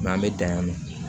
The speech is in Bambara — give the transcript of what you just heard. an bɛ dan yan nɔ